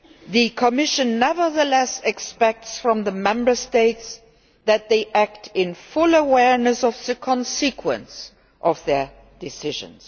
it. The Commission nevertheless expects from the Member States that they act in full awareness of the consequences of their decisions.